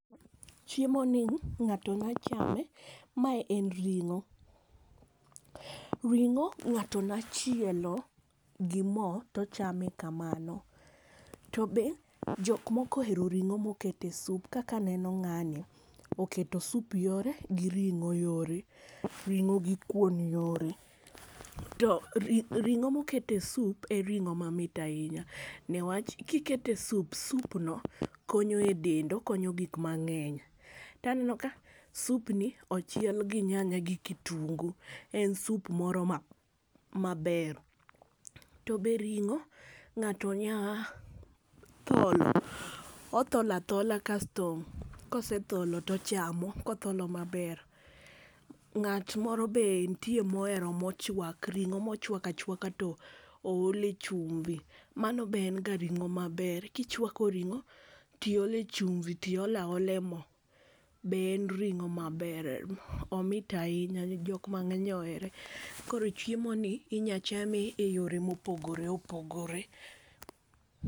Chiemo ni ng'ato nya chame mae en ring'o . Ring'o ng'ato nya chielo gi moo tochame kamano . To be jok moko ohero ring'o mokete sup kaka neno ng'ani oketo sup yore gi ring'o yore , ring'o gi kuon yore. To ri ring'o mokete sup e ring'o mamit ahinya newach kikete sup sup no konyo e dend okonyo gik mang'eny. Taneno ka sup ni ochiel gi nyanya gi kitungu en sup moro maber. To be ring'o ng'ato nya tholo othola athola kasto kosetholo tochamo kotholo maber. Ng'at moro be ntie mohero mochwak ring'o mochwak achwaka tool e chumbi. Mano be en ga ring'o maber kichwako ring'o tiole chumbi tiola ola e moo be en ring'o maber omit ahinya jok mang'eny ohere. Koro chiemo ni inya chame eyore mopogore opogore.